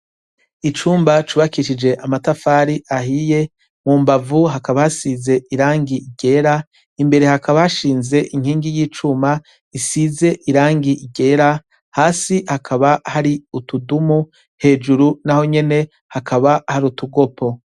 Icumba cubakishije amatafari ahiye mu mbavu hakaba hasize irangi ryera imbere hakaba hashinze inkingi y'icuma isize irangi ryera hasi hakaba hari utudumu hejuru naho nyene hakaba hari utugopo.